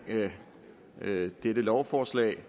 dette lovforslag